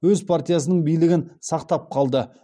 өз партиясының билігін сақтап қалды